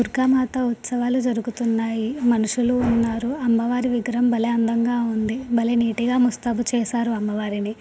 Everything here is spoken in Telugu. దుర్గా మాత ఉత్సవాలు జరుగుతున్నాయి మనుషులు ఉన్నారు. అమ్మవారి విగ్రహం భలే అందంగా ఉంది. భలే నీట్ గా ముస్తాబు చేసారు. అమ్మవారిని.